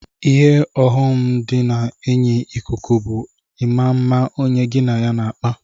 Ihe ọyọm di na enyi ikuku bu ima mma onye gi na ya n'akpa.